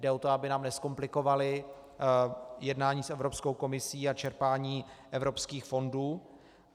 Jde o to, aby nám nezkomplikovaly jednání s Evropskou komisí a čerpání evropských fondů.